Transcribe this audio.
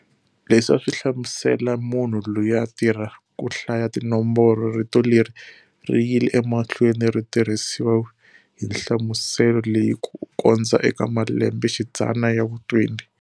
Leswi aswi hlamusela munhu loyi a a tirha ku hlaya tinomboro. Rito leri riyile emahlweni ri tirhisiwa hi nhlamuselo leyi ku kondza eka malembe xidzana ya vu 20.